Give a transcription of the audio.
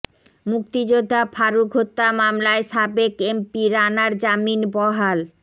মুক্তিযোদ্ধা ফারুক হত্যা মামলায় সাবেক এমপি রানার জামিন বহাল